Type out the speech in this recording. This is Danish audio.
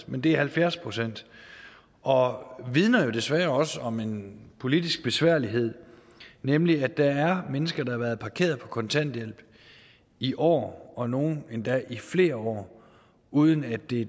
men det er halvfjerds procent og vidner jo desværre også om en politisk besværlighed nemlig at der er mennesker der har været parkeret på kontanthjælp i år og nogle endda i flere år uden at det